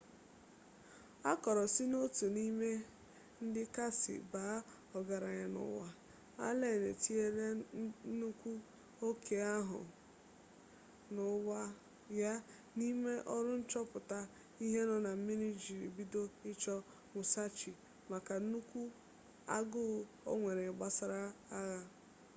akoro si n'otu n'ime ndi kasi baa ogaranya n'uwa allen etinyela nnukwu oke aku n'uba ya n'ime oru nchoputa ihe no na mmiri iji bido icho musashi maka nnukwu aguu onwere gbasara agha